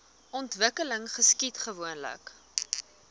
ontwikkeling geskied gewoonlik